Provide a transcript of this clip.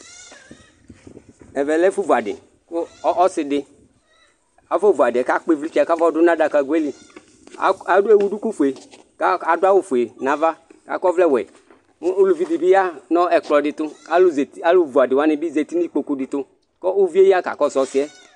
ɛvɛ lɛ ɛfũ vuadï kũ ɔssi dï afɔ vuadïe kakpi vlitsɛ kafɔdũ nũ adaka göeli éwu dũkũ fué kadũ awũ fué nava kakɔ ɔvlɛ wuẽ ũlũvi dibi yanɔ ɛkpɔ di tũ alu vuadi wanibi zatï nũ ïkpokũ dï tũ kɔ ũvie ya kakɔssu ɔssiɛ